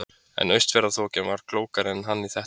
En Austfjarðaþokan var klókari en hann í þetta sinn.